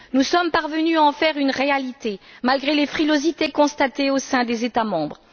Nous sommes parvenus à en faire une réalité, malgré les frilosités constatées au sein des États membres.